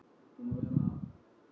Stundum lítur það þannig út.